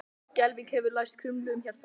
Skelfing hefur læst krumlu um hjartað.